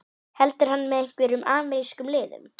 Heldur hann með einhverjum amerískum liðum?